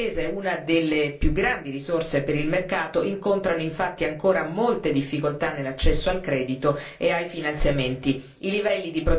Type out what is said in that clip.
Le piccole e medie imprese, una delle più grandi risorse per il mercato, incontrano infatti ancora molte difficoltà nell'accesso al credito e ai finanziamenti.